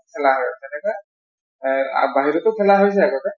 মানে খেলা হয় তেনেকৈ । অ বাহিৰতো খেলা হৈছে আগতে।